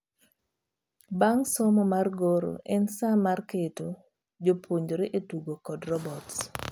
Bang' somo mar goro, en saa mar keto jopuonjre e tugo kod robots.